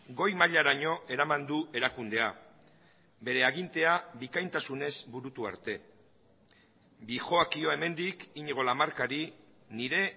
goi mailaraino eraman du erakundea bere agintea bikaintasunez burutu arte dihoakio hemendik iñigo lamarcari nire